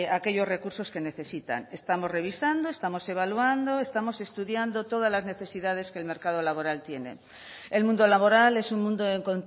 aquellos recursos que necesitan estamos revisando estamos evaluando estamos estudiando todas las necesidades que el mercado laboral tiene el mundo laboral es un mundo en